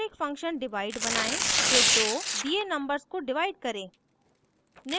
और एक function divide बनायें जो दो दिए numbers को डिवाइड करे